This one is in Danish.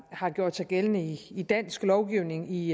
har gjort sig gældende i i dansk lovgivning i